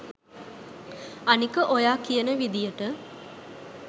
අනික ඔයා කියන විදියට